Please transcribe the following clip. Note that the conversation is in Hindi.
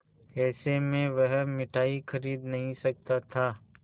ऐसे में वह मिठाई खरीद नहीं सकता था